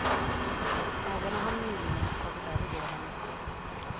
Ägarna har nyligen tagit över gården.